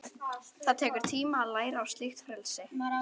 Það tekur tíma að læra á slíkt frelsi.